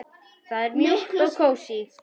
Það er mjúkt og kósí.